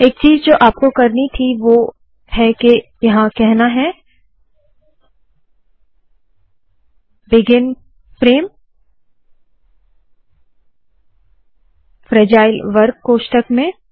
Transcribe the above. एक चीज़ जो आपको करनी थी वोह है के ये कहना है बिगिन फ्रेम फ्रैजाइल वर्ग कोष्ठक में